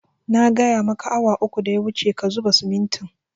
Na gaya maka awa uku da ya wuce ka zuba simintin